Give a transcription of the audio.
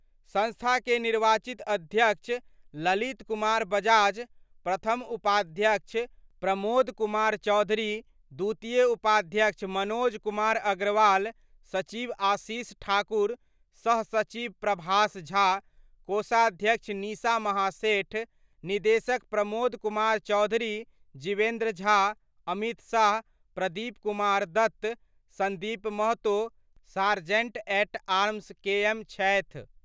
संस्था के निर्वाचित अध्यक्ष ललित कुमार बजाज, प्रथम उपाध्यक्ष प्रमोद कुमार चौधरी, द्वितीय उपाध्यक्ष मनोज कुमार अग्रवाल, सचिव आशीष ठाकुर, सह सचिव प्रभाष झा, कोषाध्यक्ष निशा महासेठ, निदेशक प्रमोद कुमार चौधरी, जीवेन्द्र झा, अमित साह, प्रदीप हैं Kumar Dutt Sandeep Mahato sergeant at arms के मे छथि।